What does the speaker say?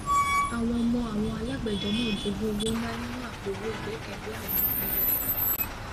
àwọn ọmọ àwọn alágbẹdẹ náà jogún owó ńlá nínú àpò owó ìgbẹkẹlé àwọn òbí rẹ àgbà